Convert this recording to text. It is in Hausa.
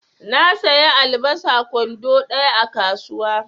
Na saya albasa kwando ɗaya a kasuwa.